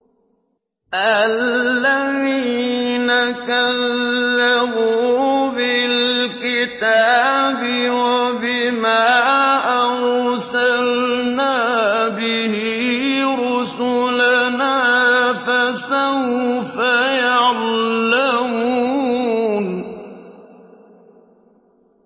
الَّذِينَ كَذَّبُوا بِالْكِتَابِ وَبِمَا أَرْسَلْنَا بِهِ رُسُلَنَا ۖ فَسَوْفَ يَعْلَمُونَ